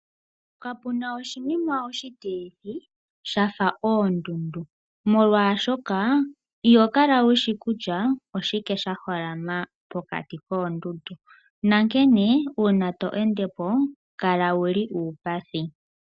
Kapuna oshinima oshitilithi sha fa oondundu. Molwaashoka iho kala wushi kutya oshike sha holama pokati koondundu. Nankene uuna to ende po kala wuli uupathi.